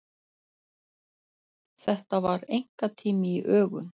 Þetta var einkatími í ögun.